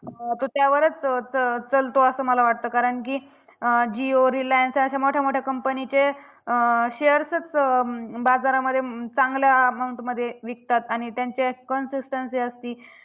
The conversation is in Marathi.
तो त्यावरच च च चलतो, असं मला वाटतं कारण की जियो रिलायंस अशा मोठ्या मोठ्या company चे shares च बाजारामध्ये चांगल्या amount मध्ये विकतात. आणि त्यांच्यात consistency असती.